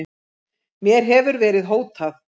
Mér hefur verið hótað